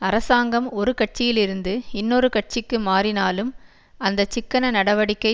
அரசாங்கம் ஒரு கட்சியிலிருந்து இன்னொரு கட்சிக்கு மாறினாலும் அந்த சிக்கன நடவடிக்கை